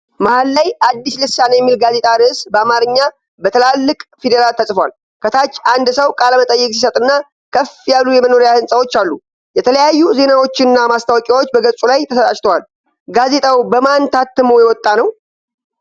መሃል ላይ 'አዲስ ልሳን' የሚል ጋዜጣ ርዕስ በአማርኛ በትላልቅ ፊደላት ተጽፏል። ከታች አንድ ሰው ቃለመጠይቅ ሲሰጥና ከፍ ያሉ የመኖሪያ ሕንፃዎች አሉ። የተለያዩ ዜናዎችና ማስታወቂያዎች በገጹ ላይ ተሰራጭተዋል። ጋዜጣው በማን ታትሞ የወጣ ነው?